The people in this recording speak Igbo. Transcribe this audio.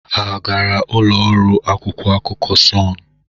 Ha agara ụlọ ọrụ akwụkwọ akụkọ Sọnụ?